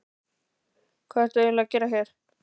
Hvað ert þú eiginlega að gera hér?